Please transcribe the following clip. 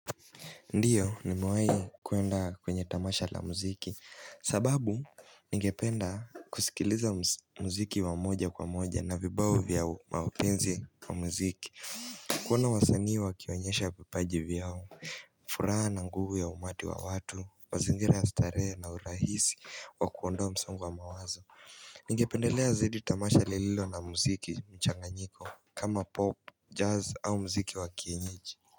Ndiyo nimewahi kuenda kwenye tamasha la muziki sababu ningependa kusikiliza muziki wa moja kwa moja na vibao vya wapenzi wa muziki kuona wasanii wakionyesha vipaji vyao furaha na nguvu ya umati wa watu mazingira ya starehe na urahisi wa kuondoa msongo wa mawazo Ningependelea zaidi tamasha lililo na muziki mchanganyiko kama pop, jazz au muziki wa kienyeji.